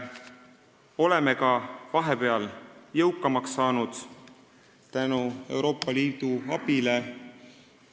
Oleme vahepeal tänu Euroopa Liidu abile ka jõukamaks saanud.